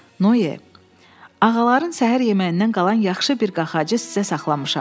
Noe, ağaların səhər yeməyindən qalan yaxşı bir qaxacı sizə saxlamışam.